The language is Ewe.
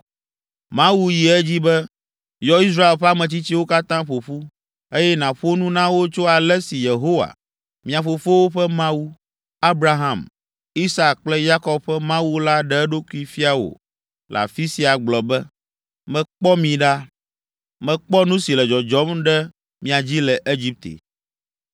“Mawu yi edzi be, ‘Yɔ Israel ƒe ametsitsiwo katã ƒo ƒu, eye nàƒo nu na wo tso ale si Yehowa, mia fofowo ƒe Mawu, Abraham, Isak kple Yakob ƒe Mawu la ɖe eɖokui fia wò le afi sia gblɔ be, Mekpɔ mi ɖa. Mekpɔ nu si le dzɔdzɔm ɖe mia dzi le Egipte.